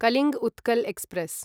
Kalinga Utkal express